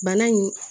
Bana in